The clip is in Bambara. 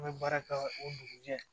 An bɛ baara kɛ o dugujɛ